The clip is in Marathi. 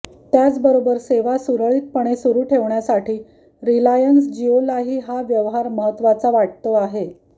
त्याचबरोबर सेवा सुरळीतपणे सुरू ठेवण्यासाठी रिलायन्स जिओलाही हा व्यवहार महत्त्वाचा वाटतो आहे